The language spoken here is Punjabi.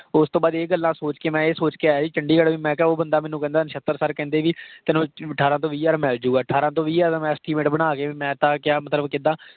ਓਸ ਤੋਂ ਬਾਅਦ ਇਹ ਗੱਲਾਂ ਸੋਚ ਕੇ ਮੈਂ ਇਹ ਸੋਚ ਕੇ ਆਇਆ ਸੀ ਚੰਡੀਗੜ੍ਹ ਮੈਂ ਕਿਹਾ ਉਹ ਬੰਦਾ ਮੈਨੂੰ ਕਹਿੰਦਾ, ਨਸ਼ਤਰ sir ਕਹਿੰਦੇ ਕਿ ਤੈਨੂੰ ਅਠਾਰਾਂ ਤੋਂ ਵੀ ਹਜ਼ਾਰ ਮਿਲ ਜਾਊਗਾ। ਅਠਾਰਾਂ ਤੋਂ ਵੀਹ ਹਜ਼ਾਰ ਦਾ ਮੈਂ estimate ਬਣਾ ਕੇ ਮੈਂ ਤਾਂ ਕਿਹਾ ਮਤਲਬ ਕਿੱਦਾਂ।